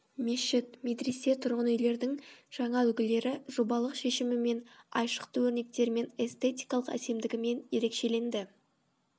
мешіт медресе тұрғын үйлердің жаңа үлгілері жобалық шешімімен айшықты өрнектерімен эстетикалық әсемдігімен ерекшеленді